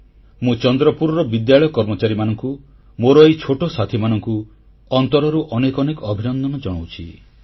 ମୁଁ ଚନ୍ଦ୍ରପୁରର ବିଦ୍ୟାଳୟ କର୍ମଚାରୀମାନଙ୍କୁ ମୋର ଏହି ଛୋଟ ସାଥିମାନଙ୍କୁ ଅନ୍ତରରୁ ଅନେକ ଅନେକ ଅଭିନନ୍ଦନ ଜଣାଉଛି